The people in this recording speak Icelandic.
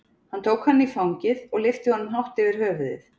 Hann tók hann í fangið og lyfti honum hátt yfir höfuðið.